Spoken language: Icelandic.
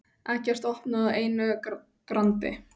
Eggert opnaði á einu grandi.